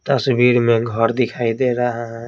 तस्वीर में घर दिखाई दे रहा है।